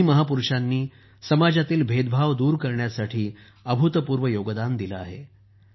या दोन्ही महापुरुषांनी समाजातील भेदभाव दूर करण्यासाठी अभूतपूर्व योगदान दिले आहे